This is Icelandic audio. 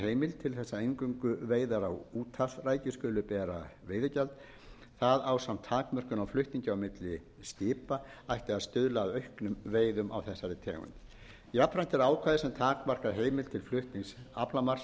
að eingöngu veiðar á úthafsrækju skuli bera veiðigjald það ásamt takmörkun á flutningi á milli skipa ætti að stuðla að auknum veiðum á þessari tegund jafnframt er ákvæði sem takmarkar heimild til flutnings aflamarks